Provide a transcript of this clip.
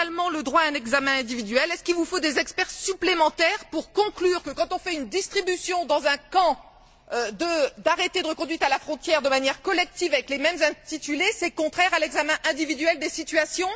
le droit à un examen individuel, vous faut il des experts supplémentaires pour conclure que, quand on fait une distribution, dans un camp, d'arrêtés de reconduite à la frontière de manière collective avec les mêmes intitulés, c'est contraire à l'examen individuel des situations?